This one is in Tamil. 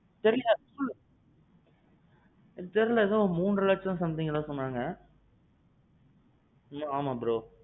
தெரில. தெரில எதோ மூன்ற லட்சம் somethingனு சொன்னாங்க.